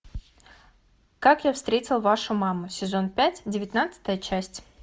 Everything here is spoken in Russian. как я встретил вашу маму сезон пять девятнадцатая часть